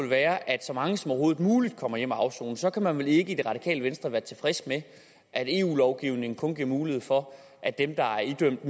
være at så mange som overhovedet muligt kommer hjem at afsone så kan man vel ikke i det radikale venstre være tilfreds med at eu lovgivningen kun giver mulighed for at dem der er idømt